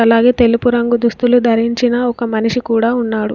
అలాగే తెలుపు రంగు దుస్తులు ధరించిన ఒక మనిషి కూడా ఉన్నాడు.